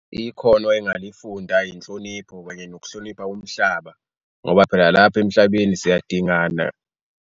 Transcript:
Ikhono engalifunda inhlonipho kanye nokuhlonipha umhlaba ngoba phela lapha emhlabeni siyadingana.